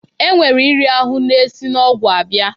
E nwere iri ahụ na-esi n'ọgwụ abịa.